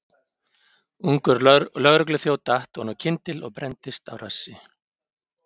Ungur lögregluþjónn datt oná kyndil og brenndist á rassi.